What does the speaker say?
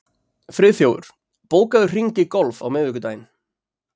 Friðþjófur, bókaðu hring í golf á miðvikudaginn.